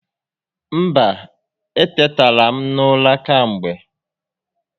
Mba, etetara m n'ụra kemgbe